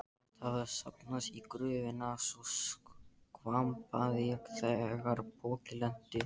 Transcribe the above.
Vatn hafði safnast í gröfina svo skvampaði þegar pokinn lenti.